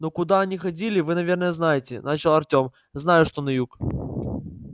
ну куда они ходили вы наверное знаете начал артём знаю что на юг